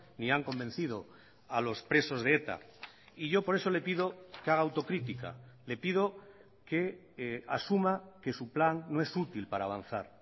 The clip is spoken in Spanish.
ni han convencido a los presos de eta y yo por eso le pido que haga autocrítica le pido que asuma que su plan no es útil para avanzar